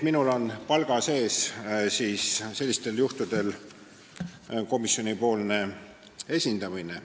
Minul on palga sees sellistel juhtudel komisjoni esindamine.